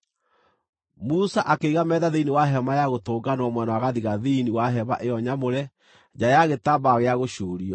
Musa akĩiga metha thĩinĩ wa Hema-ya-Gũtũnganwo mwena wa gathigathini wa hema ĩyo nyamũre, nja ya gĩtambaya gĩa gũcuurio